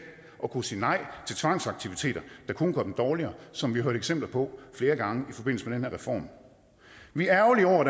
kunne sige nej til tvangsaktiviteter der kun gør dem dårligere som vi har hørt eksempler på flere gange i forbindelse med den her reform vi er ærgerlige over